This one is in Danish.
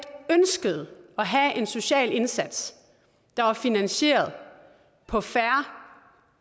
ønskede at have en social indsats der var finansieret på fair